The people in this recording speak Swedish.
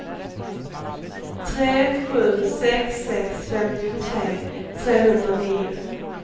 tre sju sex sex femtiotre trehundranio